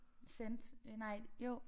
Cent øh nej jo